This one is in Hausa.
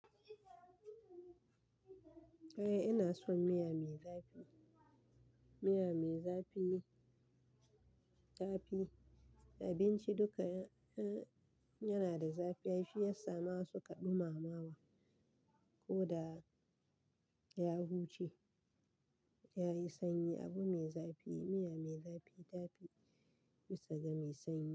Eh ina son miya mai zafi. Miya mai zafi, zafi, abinci duka yana da zafi ai shiyasa masu kaɗuma ma wa. Ko da ya huce yayi sanyi. Abu mai zafi, miya mai zafi yafi bisa ga mai sanyi.